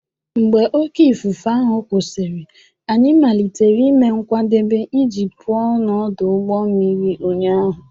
Mgbe oké ifufe ahụ kwụsịrị, anyị malitere ime nkwadebe iji pụọ n'ọdụ ụgbọ mmiri ụnyaahụ.